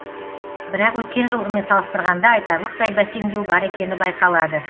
бірақ өткен жылғымен салыстырғанда айтарлықтай бәсеңдеу бар екені байқалады